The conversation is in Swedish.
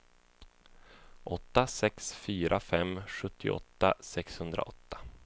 åtta sex fyra fem sjuttioåtta sexhundraåtta